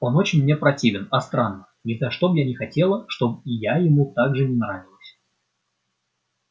он очень мне противен а странно ни за что б я не хотела чтоб и я ему так же не нравилась